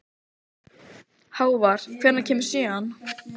Hávar, hvenær kemur sjöan?